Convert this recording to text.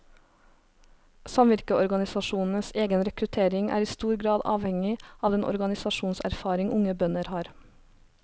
Samvirkeorganisasjonenes egen rekruttering er i stor grad avhengig av den organisasjonserfaring unge bønder har.